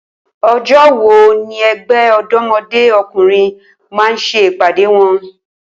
O̩jó̩ wo ni e̩gbé̩ Ò̩dó̩mo̩dé O̩kùnrin máa ń s̩e ìpàdé wo̩n?